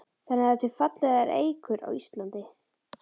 Þannig að það eru til fallegar eikur á Íslandi?